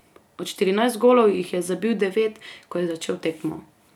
Od štirinajst golov jih je zabil devet, ko je začel tekmo.